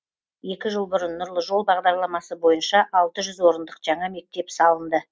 екі жыл бұрын нұрлы жол бағдарламасы бойынша алты жүз орындық жаңа мектеп салынды